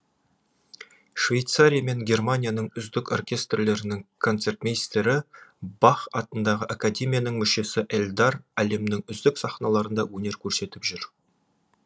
швейцария мен германияның үздік оркестрлерінің концертмейстері бах атындағы академияның мүшесі эльдар әлемнің үздік сахналарында өнер көрсетіп жүр